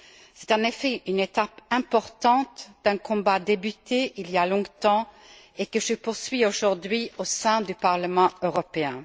C'est en effet une étape importante d'un combat débuté il y a longtemps et que je poursuis aujourd'hui au sein du Parlement européen.